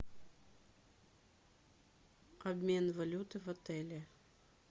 обмен валюты в отеле